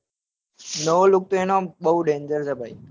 નવો look તો એનો બઉ danger છ ભઈ.